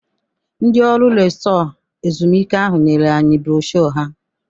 Ndị ọrụ resọtụ ezumuike ahụ nyere anyị brosho ha.